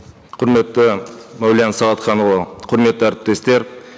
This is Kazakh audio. құрметті мәулен сағатханұлы құрметті әріптестер